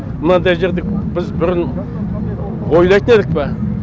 мынандай жерді біз бұрын ойлайтын едік пе